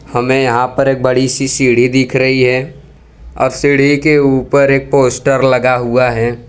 हमें यहां पर एक बड़ी सी सीढ़ी दिख रही है और सीढ़ी के ऊपर एक पोस्टर लगा हुआ है।